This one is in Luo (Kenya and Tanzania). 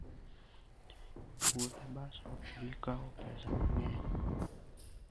Wuoth e bas ok bi kawo pesa mang'eny.